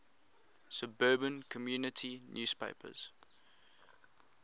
suburban community newspapers